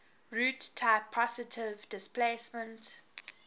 roots type positive displacement